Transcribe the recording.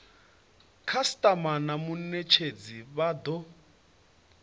khasitama na munetshedzi vha do